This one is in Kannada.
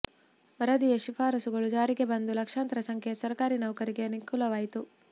ವರದಿಯ ಶಿಫಾರಸುಗಳು ಜಾರಿಗೆ ಬಂದು ಲಕ್ಷಾಂತರ ಸಂಖ್ಯೆಯ ಸರಕಾರಿ ನೌಕರರಿಗೆ ಅನುಕೂಲವಾಯಿತು